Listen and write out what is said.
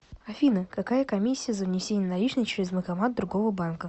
афина какая комиссия за внесение наличных через банкомат другого банка